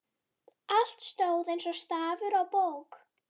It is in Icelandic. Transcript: Allt stóð eins og stafur á bók.